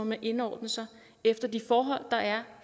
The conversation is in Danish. man indordne sig efter de forhold der er